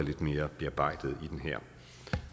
lidt mere i den her